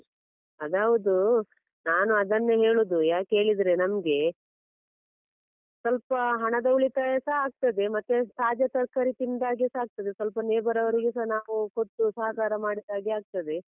ಅದು ಹೌದು. ನಾನು ಅದನ್ನೇ ಹೇಳುದು ಯಾಕೇಳಿದ್ರೇ ನಮ್ಗೆ ಸ್ವಲ್ಪ ಹಣದ ಉಳಿತಾಯಸ ಆಗ್ತದೆ ಮತ್ತೆ ತಾಜಾ ತರ್ಕಾರಿ ತಿಂದಾಗೆಸ ಆಗ್ತದೆ ಸ್ವಲ್ಪ neighbour ಅವರಿಗೆಸ ನಾವು ಕೊಟ್ಟು ಸಹಕಾರ ಮಾಡಿದಾಗೆ ಆಗ್ತದೆ.